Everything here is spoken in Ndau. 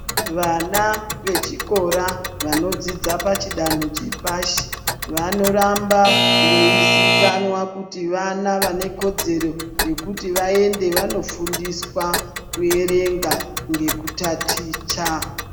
Vana vechikora vanodzidza pachidanho chepashi vanoramba veizikanwa kuti vana vanekodzero yekuti vaende vanofundiswa kuerenga ngekutaticha.